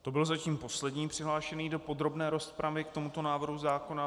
To byl zatím poslední přihlášený do podrobné rozpravy k tomuto návrhu zákona.